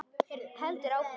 Heldur áfram: